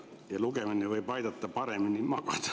Ja lugemine võib aidata paremini magada.